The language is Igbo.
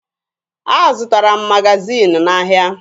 Azụtara m magaziini n'ahịa.